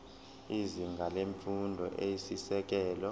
izinga lemfundo eyisisekelo